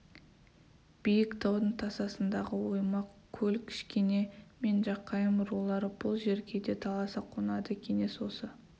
биік таудың тасасындағы оймақ көл кішкене мен жақайым рулары бұл жерге де таласа қонады кеңес осы